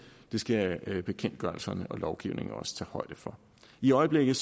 skal bekendtgørelserne og lovgivningen også tage højde for i øjeblikket